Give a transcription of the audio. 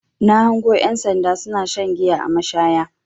Na hango ƴan sanda suna shan giya a mashaya.